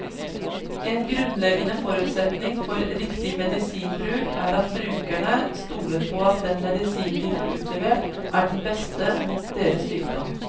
En grunnleggende forutsetning for riktig medisinbruk er at brukerne stoler på at den medisinen de får utlevert, er den beste mot deres sykdom.